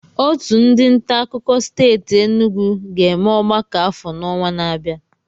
Otu ndị nta akụkọ steeti Enugwu ga-eme ọgbakọ afọ n'ọnwa na-abịa